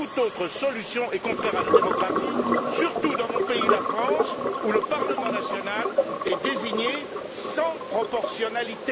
Toute autre solution est contraire à la démocratie, surtout dans mon pays la France où le Parlement national est désigné sans proportionnalité, sans règle de proportionnelle.